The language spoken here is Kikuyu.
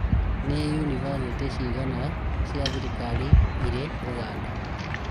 Nĩ yunibacĩtĩ cigana cia thirikari irĩ Ũganda?